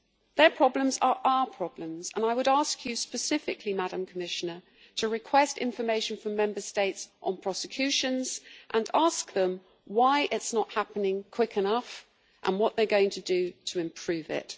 Their problems are our problems and I would ask you specifically, Madam Commissioner, to request information from Member States on prosecutions and ask them why it is not happening quickly enough and what they are going to do to improve it.